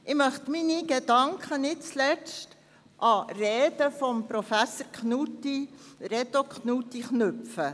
Ich möchte meine Gedanken nicht zuletzt an Reden von Professor Reto Knutti anknüpfen.